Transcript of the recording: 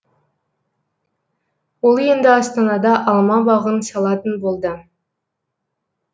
ол енді астанада алма бағын салатын болды